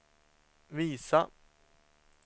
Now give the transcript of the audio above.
visa